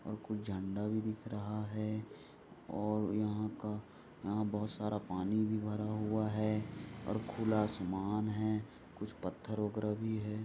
और कुछ झंडा भी दिख रहा है और यहाँ का और यहाँ बहुत सारा पानी भी भरा हुआ है और खुला आसमान है कुछ पत्थर वगैरा भी है।